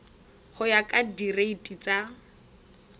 go ya ka direiti tsa